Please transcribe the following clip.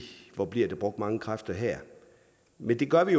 hvor bliver der brugt mange kræfter her men det gør vi